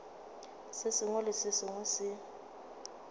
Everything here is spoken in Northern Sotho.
sengwe le se sengwe se